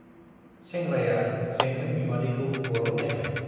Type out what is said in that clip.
सेंग्राया जेंग्रें बिमादैखौ गल' नाइबाय ।